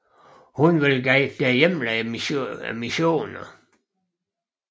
Hun vil guide dig gennem missionerne